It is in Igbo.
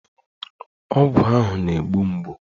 Ọgwụ ahụ na-egbu mgbu